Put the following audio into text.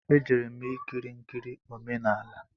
E jere m ikiri nkiri omenala